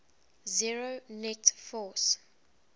zero net force